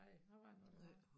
Nej hvordan var det nu det var